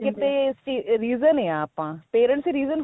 ਕਿਤੇ reason ਆ ਆਪਾਂ parents reason